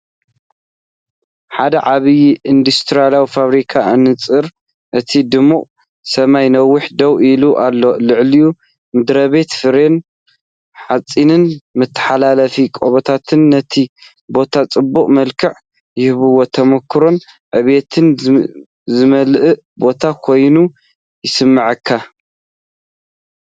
ሓደ ዓቢይ ኢንዱስትርያዊ ፋብሪካ ኣንጻር እቲ ድሙቕ ሰማይ ነዊሕ ደው ኢሉ ኣሎ። ልዑል ምድሪቤት፡ ፍሬም ሓጺንን መተሓላለፊ ቀበቶታትን ነቲ ቦታ ጽዑቕ መልክዕ ይህብዎ። ተመኩሮን ዕብየትን ዝመልአ ቦታ ኮይኑ ይስምዓካ።